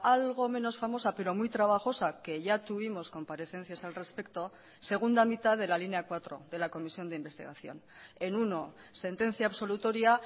algo menos famosa pero muy trabajosa que ya tuvimos comparecencias al respecto segunda mitad de la línea cuatro de la comisión de investigación en uno sentencia absolutoria